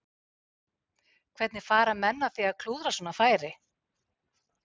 Hvernig fara menn að því að klúðra svona færi?